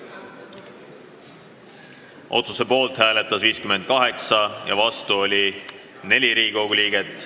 Hääletustulemused Poolt hääletas 58 ja vastu oli 4 Riigikogu liiget.